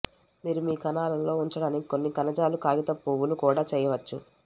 మీరు మీ కణాలలో ఉంచడానికి కొన్ని కణజాల కాగితపు పువ్వులు కూడా చేయవచ్చు